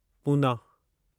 Poona